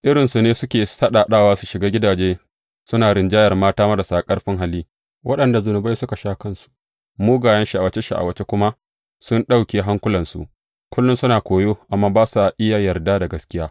Irin su ne suke saɗaɗawa su shiga gidaje suna rinjayar mata marasa ƙarfin hali, waɗanda zunubai suka sha kansu, mugayen sha’awace sha’awace kuma sun ɗauke hankulansu, kullum suna koyo amma ba sa taɓa iya yarda da gaskiya.